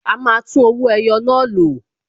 A máa tún owó ẹyọ náà lò